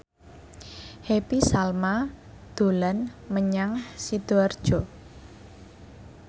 Happy Salma dolan menyang Sidoarjo